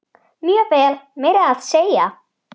Mjög vel, meira að segja.